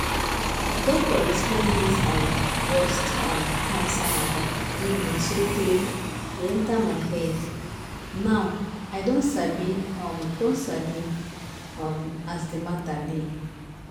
doctor explain dis um breast um cancer mata give me sotay e enter my head now i don sabi um don sabi um as de mata be.